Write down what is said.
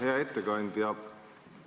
Hea ettekandja!